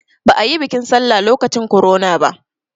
Ba a yi biƙin sallah lokacin korona ba